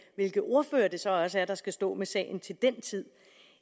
hvilke ordførere det så også er der skal stå med sagen til den tid